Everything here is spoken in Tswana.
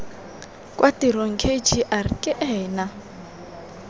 kwa tirong kgr ke ena